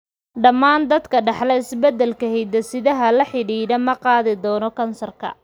Dhammaan dadka ka dhaxla isbeddelka hidde-sidaha la xidhiidha ma qaadi doono kansar.